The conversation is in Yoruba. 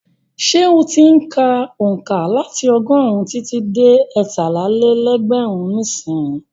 Ṣé ó ti ń ka onka láti ọgọ́rùn-ún títí dé ẹtálá-lé-lẹ́gbẹ̀rún nísìnyí?